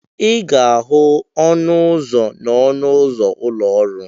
Ị ga-ahụ ọnụ ụzọ n'ọnụ ụzọ ụlọ ọrụ.